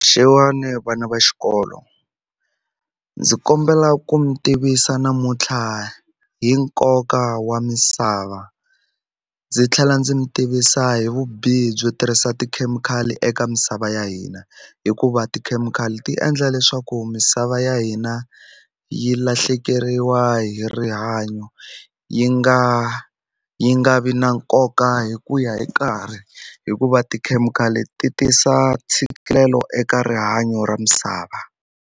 Xewani vana va xikolo ndzi kombela ku mi tivisa namuntlha hi nkoka wa misava ndzi tlhela ndzi mi tivisa hi vubihi byo tirhisa tikhemikhali eka misava ya hina hikuva tikhemikhali ti endla leswaku misava ya hina yi lahlekeriwa hi rihanyo yi nga yi nga vi na nkoka hi ku ya hi nkarhi hikuva tikhemikhali ti tisa ntshikelelo eka rihanyo ra misava.